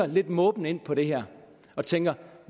lidt måbende på det her og tænker